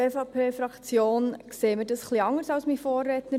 Die EVP-Fraktion sieht das etwas anders als mein Vorredner.